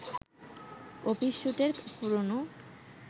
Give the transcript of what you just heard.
office স্যুটের পুরনো